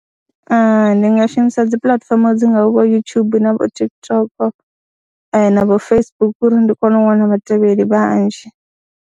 Ndi nga shumisa dzi puḽatifomo dzi ngah vho YouTube na vho TikTok na vho Facebook uri ndi kone u wana vhatevheli vhanzhi.